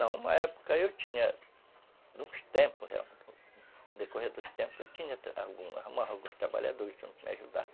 Não, uma época eu tinha, nos tempos realmente, no decorrer dos tempos eu tinha alguns trabalhadores que me ajudaram.